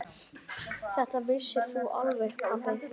Þetta vissir þú alveg pabbi.